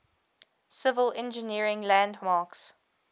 civil engineering landmarks